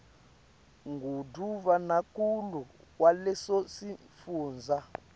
ngundvunankhulu waleso sifundza